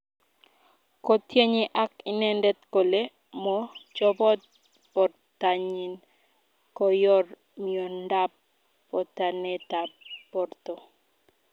Kotienge ag inendet kole mo chopot portanyin konyor miondap potanetap porto.